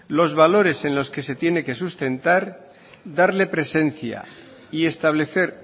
los valores en los que se tiene que sustentar darle presencia y establecer